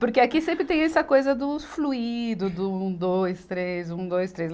Porque aqui sempre tem essa coisa dos fluído, do um, dois, três, um, dois, três